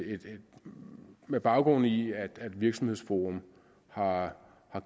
igen med baggrund i at virksomhedsforum har